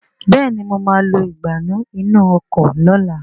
Béèni mọ má lọ Ìgbánú inú ọkọ̀ lọ̀la